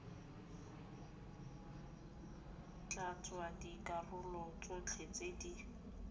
tlatsa dikarolo tsotlhe tse di